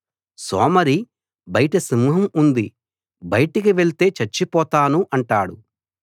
సోమరి బయట సింహం ఉంది బయటికి వెళ్తే చచ్చిపోతాను అంటాడు